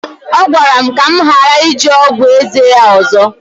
ọ gwara m ka m ghara iji ọgwụ eze ya ọzọ